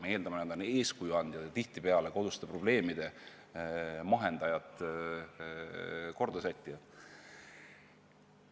Me eeldame, et nad on eeskuju andjad ja tihtipeale koduste probleemide mahendajad, kordasättijaid.